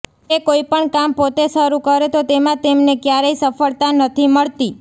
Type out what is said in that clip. તે કોઈપણ કામ પોતે શરૂ કરે તો તેમાં તેમને ક્યારેય સફળતા નથી મળતી